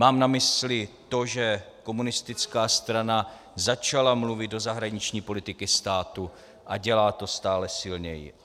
Mám na mysli to, že komunistická strana začala mluvit do zahraniční politiky státu a dělá to stále silněji.